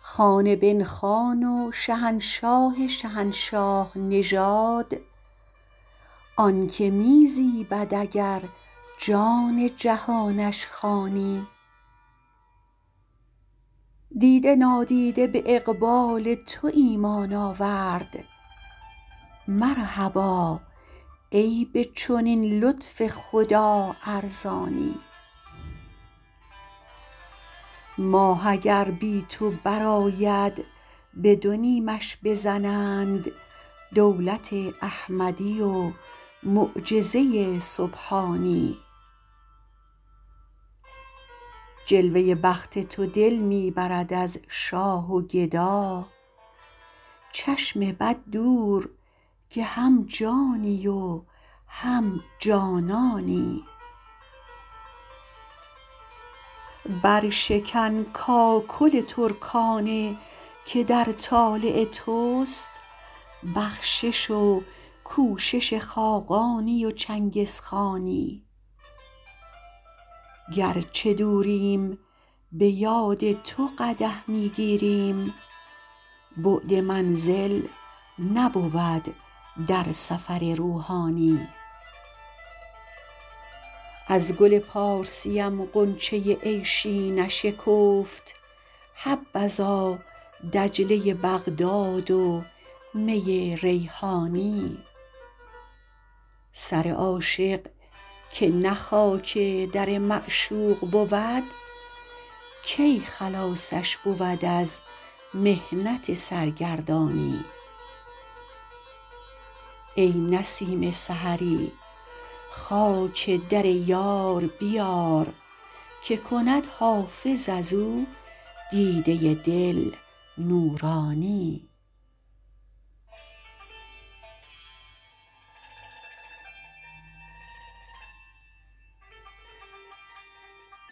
خان بن خان و شهنشاه شهنشاه نژاد آن که می زیبد اگر جان جهانش خوانی دیده نادیده به اقبال تو ایمان آورد مرحبا ای به چنین لطف خدا ارزانی ماه اگر بی تو برآید به دو نیمش بزنند دولت احمدی و معجزه سبحانی جلوه بخت تو دل می برد از شاه و گدا چشم بد دور که هم جانی و هم جانانی برشکن کاکل ترکانه که در طالع توست بخشش و کوشش خاقانی و چنگزخانی گر چه دوریم به یاد تو قدح می گیریم بعد منزل نبود در سفر روحانی از گل پارسیم غنچه عیشی نشکفت حبذا دجله بغداد و می ریحانی سر عاشق که نه خاک در معشوق بود کی خلاصش بود از محنت سرگردانی ای نسیم سحری خاک در یار بیار که کند حافظ از او دیده دل نورانی